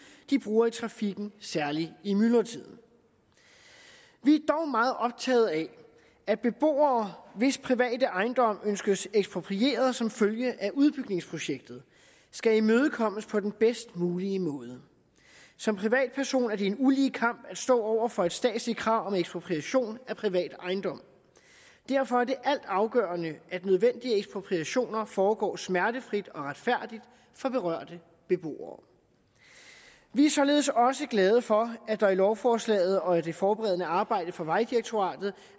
de bruger i trafikken særlig i myldretiden vi er dog meget optaget af at beboere hvis private ejendom ønskes eksproprieret som følge af udbygningsprojektet skal imødekommes på den bedst mulige måde som privatperson er det en ulige kamp at stå over for et statsligt krav om ekspropriation af privat ejendom derfor er det altafgørende at nødvendige ekspropriationer foregår smertefrit og retfærdigt for berørte beboere vi er således også glade for at der i lovforslaget og i det forberedende arbejde fra vejdirektoratets